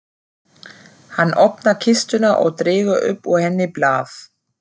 Hann opnar kistuna og dregur upp úr henni blað.